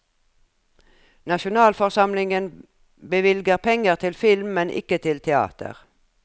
Nasjonalforsamlingen bevilger penger til film, men ikke til teater.